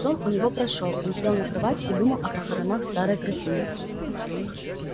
сон у него прошёл он сел на кровать и думал о похоронах старой графини